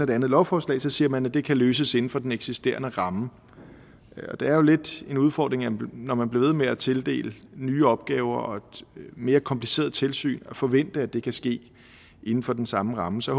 det andet lovforslag siger man at det kan løses inden for den eksisterende ramme og det er jo lidt af en udfordring når man bliver ved med at tildele nye opgaver og et mere kompliceret tilsyn at forvente at det kan ske inden for den samme ramme så